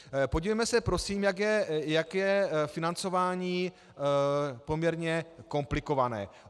Podívejme se prosím, jak je financování poměrně komplikované.